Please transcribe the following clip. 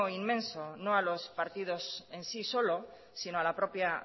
inmenso no a los partidos en sí solo sino a la propia